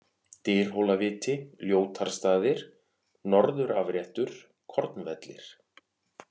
Dyrhólaviti, Ljótarstaðir, Norðurafréttur, Kornvellir